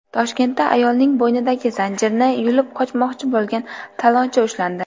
Toshkentda ayolning bo‘ynidagi zanjirni yulib qochmoqchi bo‘lgan talonchi ushlandi.